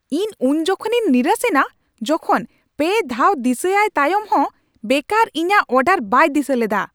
ᱤᱧ ᱩᱱᱡᱚᱠᱷᱮᱱᱤᱧ ᱱᱤᱨᱟᱥᱮᱱᱟ ᱡᱚᱠᱷᱚᱱ ᱓ ᱫᱷᱟᱣ ᱫᱤᱥᱟᱹ ᱟᱭ ᱛᱟᱭᱚᱢ ᱦᱚᱱ ᱵᱮᱠᱟᱨ ᱤᱧᱟᱹᱜ ᱚᱰᱟᱨ ᱵᱟᱭ ᱫᱤᱥᱟᱹ ᱞᱮᱫᱟ ᱾